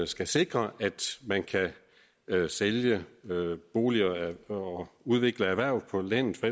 skal sikre at man kan sælge boliger og udvikle erhverv på landet for